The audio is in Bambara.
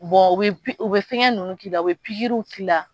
u bɛ fɛn ninnu k'i la u bɛ k'i la